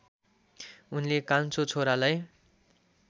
उनले कान्छो छोरालाई